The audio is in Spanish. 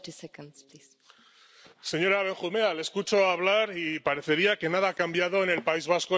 Señora Benjumea, le escucho hablar y parecería que nada ha cambiado en el País Vasco en los últimos diez años.